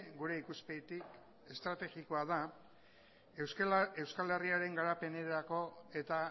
gure ikuspegitik estrategikoa da euskal herriaren garapenerako eta